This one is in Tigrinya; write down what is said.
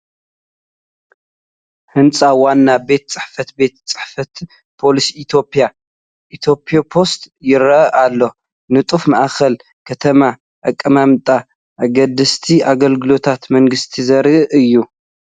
ህንፃ ዋና ቤት ፅሕፈት ቤት ፅሕፈት ፖስታ ኢትዮጵያ (Ethiopost) ይርአ ኣሎ። ንጡፍ ማእከል ከተማን ኣቀማምጣ ኣገደስቲ ኣገልግሎታት መንግስቲን ዘርኢ እዩ፡፡